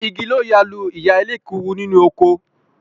Igi ló ya lu ìyá elékuru nínú oko